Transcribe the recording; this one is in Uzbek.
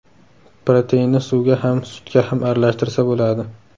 Proteinni suvga ham, sutga ham aralashtirsa bo‘ladi.